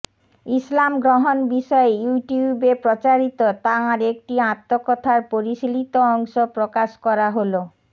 ইসলাম গ্রহণ বিষয়ে ইউটিউবে প্রচারিত তাঁর একটি আত্মকথার পরিশীলিত অংশ প্রকাশ করা হলো